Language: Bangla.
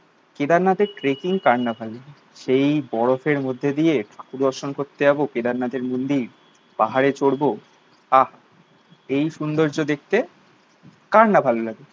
কেদারনাথের ট্র্যাকিং কার না ভালো? সেই বরফের মধ্যে দিয়ে ঠাকুর দর্শন করতে যাবো কেদারনাথের মন্দির। পাহাড়ে চড়বো আহা এই সুন্দর্য দেখতে কার না ভালো লাগে?